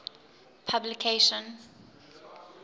publication